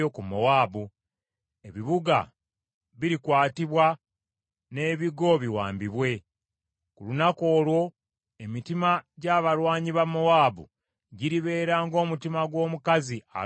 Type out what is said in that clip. Ebibuga birikwatibwa n’ebigo biwambibwe. Ku lunaku olwo emitima gy’abalwanyi ba Mowaabu giribeera ng’omutima gw’omukazi alumwa okuzaala.